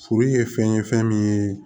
Furu ye fɛn ye fɛn min ye